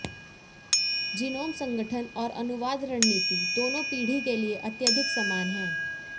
genome संगठन और अनुवाद रणनीति दोनो पीढ़ी के लिए अत्यधिक समान हैं